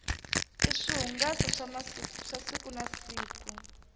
i swihungaso swa siku na siku